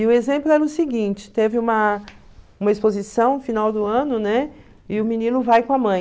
E o exemplo era o seguinte, teve uma uma exposição no final do ano, né, e o menino vai com a mãe.